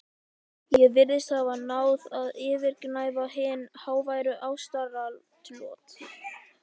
Ég virðist hafa náð að yfirgnæfa hin háværu ástaratlot